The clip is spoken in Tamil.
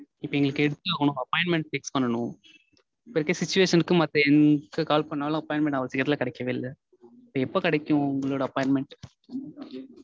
இப்போ இன்னைக்கு எடுத்தே ஆகனும். appointment fix பண்ணனும். இப்போ இருக்க situation க்கு மத்த எங்க call பண்ணாலும் appointment அவ்ளோ சீக்கிரம் கெடைக்கவே இல்ல. இப்போ எப்போ கெடைக்கும் உங்க appointment?